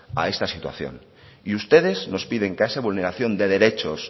a esta situación y ustedes nos piden que a esta vulneración de derechos